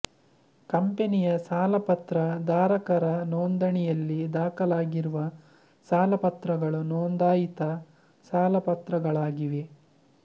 ಕಂಪನಿಯ ಸಾಲಪತ್ರ ಧಾರಕರ ನೋಂದಾಣಿಯಲ್ಲಿ ದಾಖಲಾಗಿರುವ ಸಾಲಪತ್ರಗಳು ನೋಂದಾಯಿತ ಸಾಲಪತ್ರಗಳಾಗಿವೆ